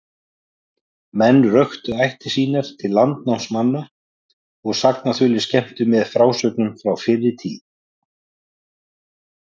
Menn röktu ættir sínar til landnámsmanna, og sagnaþulir skemmtu með frásögnum frá fyrri tíð.